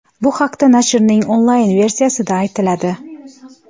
Bu haqda nashrning onlayn-versiyasida aytiladi .